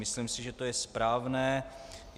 Myslím si, že je to správné.